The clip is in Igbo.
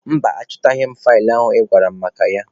Mba, achọtaghị m faịlụ ị gwara m maka ya.